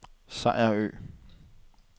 Sejerø